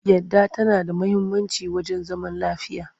Yadda tana da muhimmanci wajen zaman lafiya.